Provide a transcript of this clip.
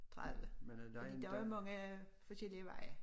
30 fordi der er mange forskellige veje